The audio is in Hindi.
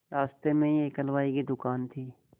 रास्ते में ही एक हलवाई की दुकान थी